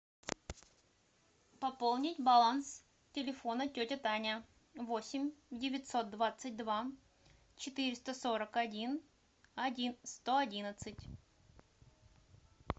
пополнить баланс телефона тетя таня восемь девятьсот двадцать два четыреста сорок один один сто одиннадцать